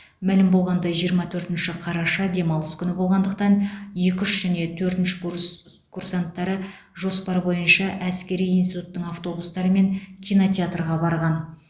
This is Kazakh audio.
мәлім болғандай жиырма төртінші қараша демалыс күні болғандықтан екі үш және төртінші курс курсанттары жоспар бойынша әскери институттың автобустарымен кинотеатрға барған